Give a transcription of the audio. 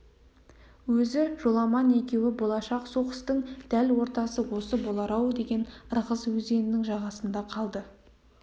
өзі жоламан екеуі болашақ соғыстың дәл ортасы осы болар-ау деген ырғыз өзенінің жағасында қалды